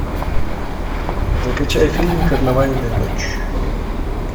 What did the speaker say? закачай фильм карнавальная ночь